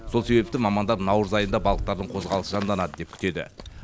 сол себепті мамандар наурыз айында балықтардың қозғалысы жанданады деп күтеді